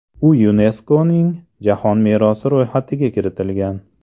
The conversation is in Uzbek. U YuNESKOning Jahon merosi ro‘yxatiga kiritilgan.